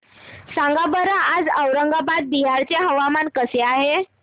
सांगा बरं आज औरंगाबाद बिहार चे हवामान कसे आहे